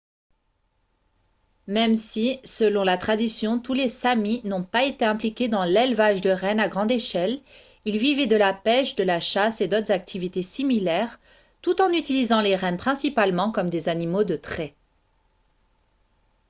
même si selon la tradition tous les samis n'ont pas été impliqués dans l'élevage de rennes à grande échelle ils vivaient de la pêche de la chasse et d'autres activités similaires tout en utilisant les rennes principalement comme des animaux de trait